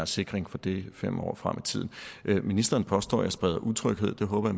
sikring for det fem år frem i tiden ministeren påstår at jeg spreder utryghed det håber